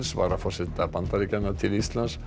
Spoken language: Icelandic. varaforseta Bandaríkjanna til Íslands